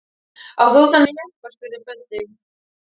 Átt þú þennan jeppa? spurði Böddi.